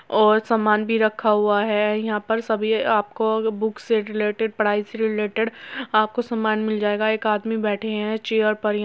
और सामान भी रखा हुआ है। यहाँ पर सभी आपको बुक से रिलेटेड पढ़ाई से रिलेटेड आपको सामान मिल जायेगा। एक आदमी बैठे हैं चेयर पर य --